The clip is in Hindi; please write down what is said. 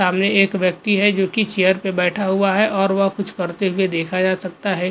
सामने एक व्यक्ति है जो कि चेयर पर बैठा हुआ है और वह कुछ करते हुए देखा जा सकता है।